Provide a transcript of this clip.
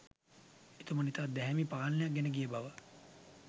එතුමන් ඉතා දැහැමි පාලනයක් ගෙනගිය බව